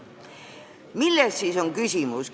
Milles on siis küsimus?